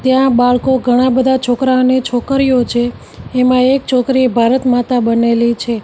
ત્યાં બાળકો ઘણાં બધા છોકરા અને છોકરીઓ છે એમાં એક છોકરી ભારતમાતા બનેલી છે.